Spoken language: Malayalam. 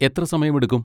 എത്ര സമയമെടുക്കും?